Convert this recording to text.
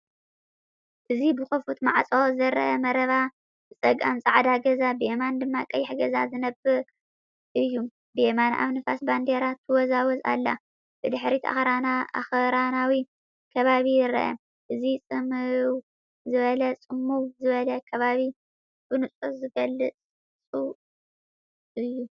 እዚ ብኽፉት ማዕጾ ዝርአ መረባ፡ ብጸጋም ጻዕዳ ገዛ፡ ብየማን ድማ ቀይሕ ገዛ ዝነብር እዩ። ብየማን ኣብ ንፋስ ባንዴራ ትወዛወዝ ኣላ፤ ብድሕሪት ኣኽራናዊ ከባቢ ይርአ። እዚ ጽምው ዝበለን ጽምው ዝበለን ከባቢ ብንጹር ዝገልጽ እዩ።